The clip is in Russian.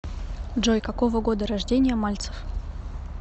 джой какого года рождения мальцев